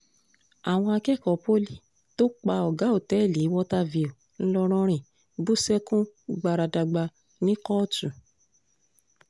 àwọn akẹ́kọ̀ọ́ pọ́lì tó pa ọ̀gá olótẹ́ẹ̀lì water view ńlọrọrìn bú sẹ́kún gbáradàgbà ní kóòtù